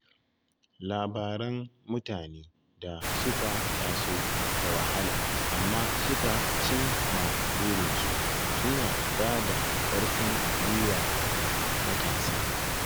Labaran mutane da suka taso da wahala amma suka cim ma burinsu suna ba da ƙarfin gwiwa ga matasa.